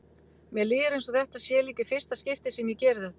Mér líður eins og þetta sé líka í fyrsta skipti sem ég geri þetta.